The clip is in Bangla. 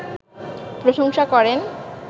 প্রশংসা করেন